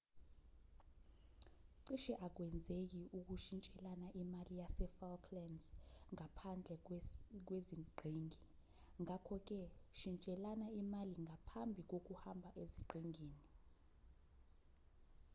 cishe akwenzeki ukushintshelana imali yasefalklands ngaphandlwe kweziqhingi ngakho-ke shintshelana imali ngaphambi kokuhamba eziqhingini